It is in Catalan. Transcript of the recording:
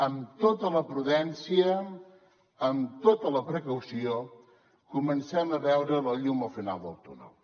amb tota la prudència amb tota la precaució comencem a veure la llum al final del túnel